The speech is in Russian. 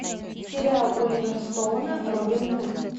сериал оливера стоуна робин гуд